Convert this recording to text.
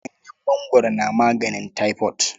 Ganyen mangwaro na maganin taifot.